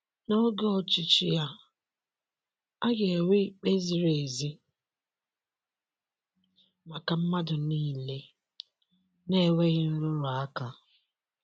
N'oge ọchịchị ya, a ga-enwe ikpe ziri ezi maka mmadụ niile, na-enweghị nrụrụ aka.